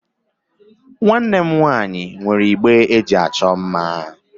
Nwanne m nwaanyị nwere igbe eji achọ mma.